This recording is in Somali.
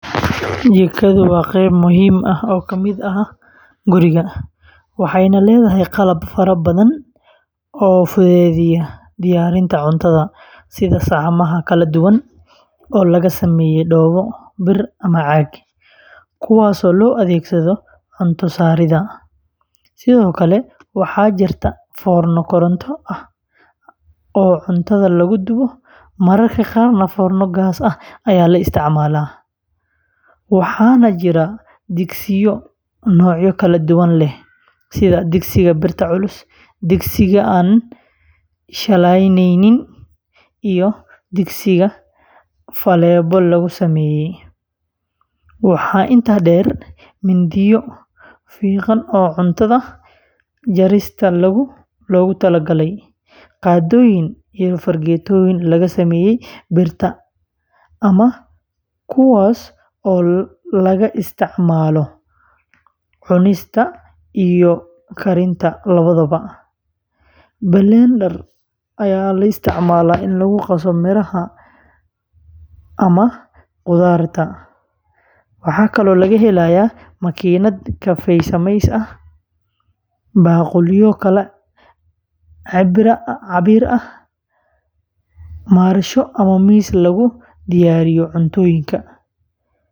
Jikadu waa qayb muhiim ah oo ka mid ah guriga, waxayna leedahay qalab fara badan oo fududeeya diyaarinta cuntada, sida saxamada kala duwan oo laga sameeyo dhoobo, bir ama caag, kuwaasoo loo adeegsado cunto saaridda, sidoo kale waxaa jirta foorno koronto ah oo cuntada lagu dubo, mararka qaarna foorno gaas ah ayaa la isticmaalaa, waxaana jira digsiyo noocyo kala duwan leh sida digsiga birta culus, digsiga aan shiilanaynin, iyo digsiga faleebo lagu sameeyo, waxaa intaa dheer mindiyo fiiqan oo cunto jarista loogu talagalay, qaaddooyin iyo fargeetooyin laga sameeyay birta ahama, kuwaas oo laga isticmaalo cunista iyo karinta labadaba, blender lagu qaso miraha ama khudaarta, makiinad kafee sameysa, baaquliyo kala cabbir ah, marsho ama miis lagu diyaariyo cuntooyinka.